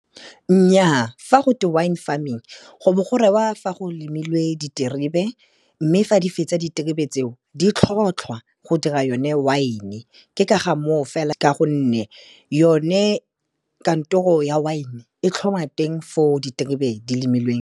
Nnyaa, fa go twe wine farming go bo go rewa fa go lemilwe diterebe mme fa di fetsa diterebe tseo, di tlhotlhwa go dira yone wine-e, ke ka ga moo fela ka gonne yone kantoro ya wine-e e tlhoma teng fo diterebe di lemilweng.